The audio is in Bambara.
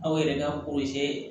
Aw yɛrɛ ka